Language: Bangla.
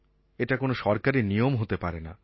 এটা কোনো সরকারী নিয়ম হতে পারে না